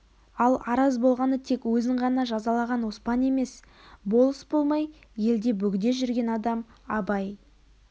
ал араз болғаны тек өзін ғана жазалаған опан емес болыс болмай елде бөғде жүрген адам абай